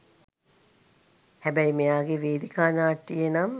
හැබැයි මෙයාගේ වේදිකා නාට්‍යයේ නම්